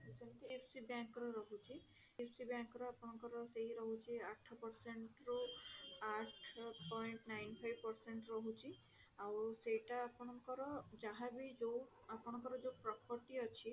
IFC bank ରହୁଛି IFC bank ର ଆପଣଙ୍କର ସେଇ ରହୁଛି ଆଠ percent ରୁ ଆଠ point nine five percent ରହୁଛି ଆଉ ସେଇଟା ଆପଣଙ୍କର ଯାହା ବି ଯୋଊ ଆପଣଙ୍କର ଯଉ property ଅଛି